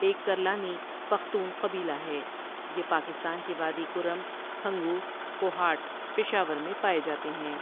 ایک کرلانی پختون قبیلہ ہے یہ پاکستان کی وادی کرم ، ہنگو ، کوھاٹ ، پشاور میں پائے جاتے ہیں۔